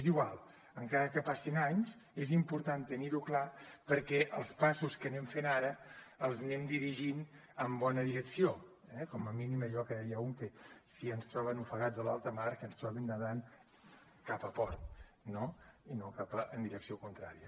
és igual encara que passin anys és important tenir ho clar perquè els passos que anem fent ara els anem dirigint en bona direcció eh com a mínim allò que deia un que si ens troben ofegats a l’alta mar que ens trobin nedant cap a port no i no en direcció contrària